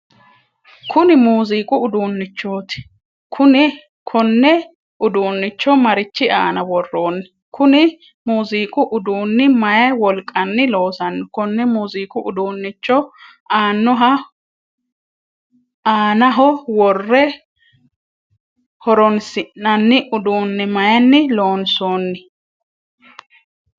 Kunni muuziiqu uduunnichoti kunne uduunicho marichi aanna woroonni? Kunni muuziiqu uduunni mayi wolqanni loosano? Konne muuziiqu uduunicho aannaho wore horoonsi'nanni uduune mayinni loonsoonni?